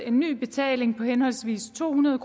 en ny betaling på henholdsvis to hundrede